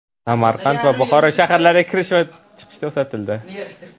Samarqand va Buxoro shaharlariga kirish va chiqish to‘xtatildi.